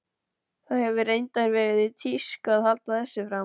Það hefur reyndar verið í tísku að halda þessu fram.